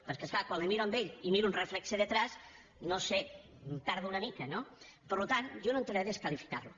perquè és clar quan el miro a ell i miro un reflex al darrere no ho sé em perdo una mica no per tant jo no entraré a desqualificar lo